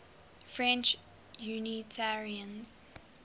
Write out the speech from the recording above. french unitarians